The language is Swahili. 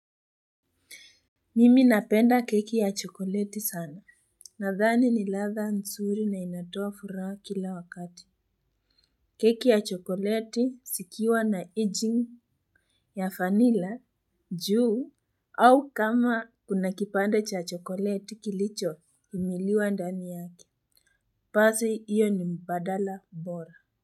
Mimi napenda keki ya chokoleti sana. Nadhani ni ladha nzuri na inatoa furaha kila wakati. Keki ya chokoleti zikiwa na aging ya vanila, juu, au kama kuna kipande cha chokoleti kilicho umiliwa ndani yake. Basi, iyo ni mpadala bora.